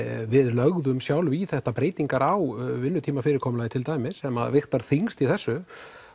við lögðum sjálf í þetta breytingar á vinnutímafyrirkomulagi til dæmis sem að vigtar þyngst í þessu